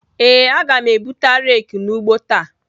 Ee, aga m ebuta rake n'ugbo ta.